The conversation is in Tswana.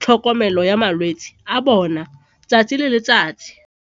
tlhokomelo ya malwetse a bona 'tsatsi le letsatsi.